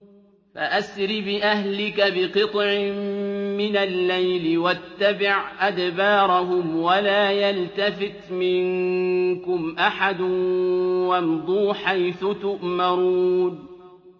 فَأَسْرِ بِأَهْلِكَ بِقِطْعٍ مِّنَ اللَّيْلِ وَاتَّبِعْ أَدْبَارَهُمْ وَلَا يَلْتَفِتْ مِنكُمْ أَحَدٌ وَامْضُوا حَيْثُ تُؤْمَرُونَ